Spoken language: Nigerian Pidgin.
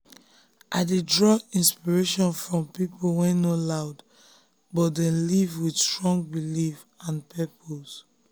i dey draw inspiration from people wey no loud but dey live with strong belief and purpose.